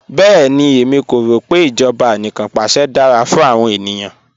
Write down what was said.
Bẹẹni, ẹ̀mí kò rọ pe ijọba àníkanpàṣẹ̀ dara fún awọn ènìyàn